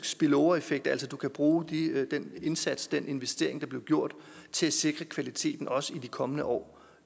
spillovereffekt altså at du kan bruge den indsats den investering der er blevet gjort til at sikre kvaliteten også i de kommende år